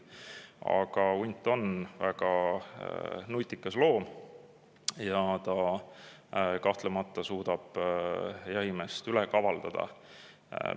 Aga hunt on väga nutikas loom ja kahtlemata suudab ka jahimeest üle kavaldada.